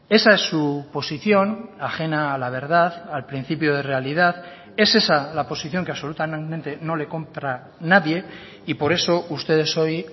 esa es su posición ajena a la verdad al principio de realidad es esa la posición que absolutamente no le compra nadie y por eso ustedes hoy